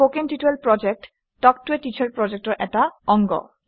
কথন শিক্ষণ প্ৰকল্প তাল্ক ত a টিচাৰ প্ৰকল্পৰ এটা অংগ